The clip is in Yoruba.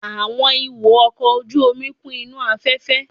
Àwọn ìwo ọkọ̀ ojú omi kún inú afẹ́fẹ́